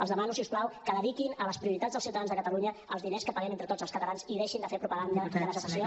els demano si us plau que dediquin a les prioritats dels ciutadans de catalunya els diners que paguem entre tots els catalans i deixin de fer propaganda de la secessió